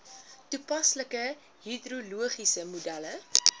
toepaslike hidrologiese modelle